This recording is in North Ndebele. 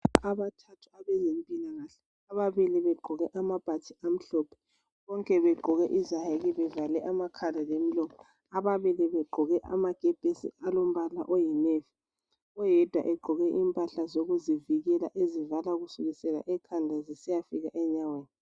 Abantu bezempilakahle ababili bagqoke amabhatshi amhlophe lezayeke bavale amakhala lemilomo . Ababili baqgoke amakepesi alombala oyinevi. Oyedwa ugqoke imphahla zokuzivikela ezivala kusukela ekhanda kusiyefika enyaweni.